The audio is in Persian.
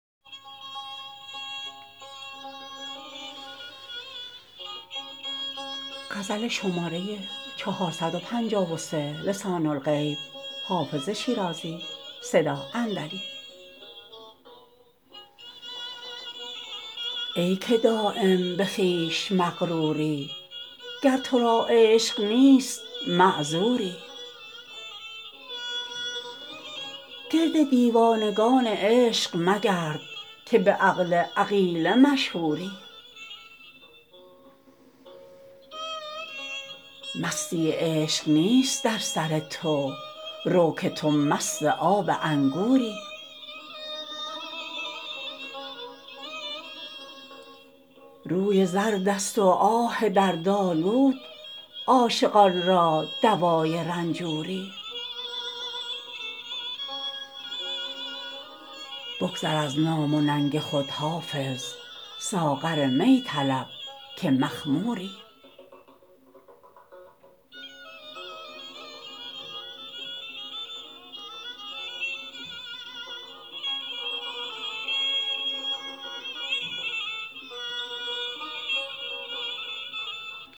ای که دایم به خویش مغروری گر تو را عشق نیست معذوری گرد دیوانگان عشق مگرد که به عقل عقیله مشهوری مستی عشق نیست در سر تو رو که تو مست آب انگوری روی زرد است و آه دردآلود عاشقان را دوای رنجوری بگذر از نام و ننگ خود حافظ ساغر می طلب که مخموری